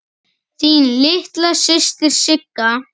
Þín litla systir Sigga.